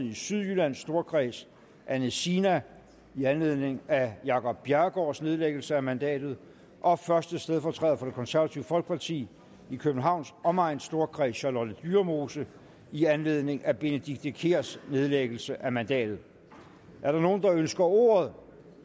i sydjyllands storkreds anne sina i anledning af jacob bjerregaards nedlæggelse af mandatet og første stedfortræder for det konservative folkeparti i københavns omegns storkreds charlotte dyremose i anledning af benedikte kiærs nedlæggelse af mandatet er der nogen der ønsker ordet